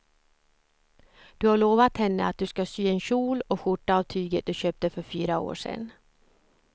Du har lovat henne att du ska sy en kjol och skjorta av tyget du köpte för fyra år sedan.